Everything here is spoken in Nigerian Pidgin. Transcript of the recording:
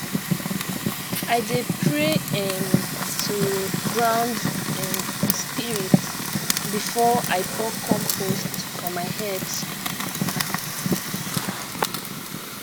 i dey pray um to ground um spirit before i pour compost for my herbs